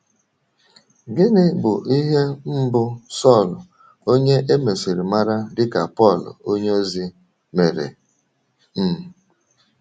Gịnị bụ ihe mbụ Sọl — onye e mesịrị mara dị ka Pọl onyeozi — mere? um